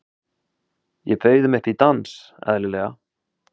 Ég bauð þeim upp í dans, eðlilega.